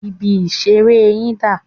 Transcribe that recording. Ibi-ìṣeré yín dà?